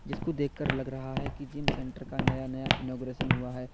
जिसको देखकर लग रहा है कि जिम सेंटर का नया नया इनॉग्रेशन हुआ है।